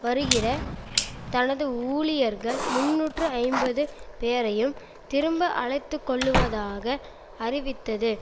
வருகிற தனது ஊழியர்கள் முன்னூற்று ஐம்பது பேரையும் திரும்ப அழைத்துக்கொள்வதாக அறிவித்தது